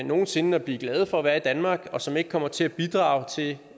nogen sinde at blive glade for at være i danmark og som ikke kommer til at bidrage til det